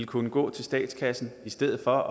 kunne gå til statskassen i stedet for